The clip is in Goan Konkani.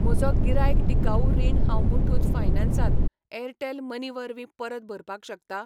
म्हजो गिरायक टिकाऊ रीण हांव मुठूत फायनान्स त एअरटेल मनी वरवीं परत भरपाक शकता?